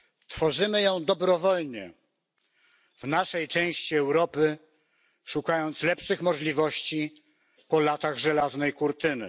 Tworzymy ją dobrowolnie w naszej części Europy, szukając lepszych możliwości po latach Żelaznej Kurtyny.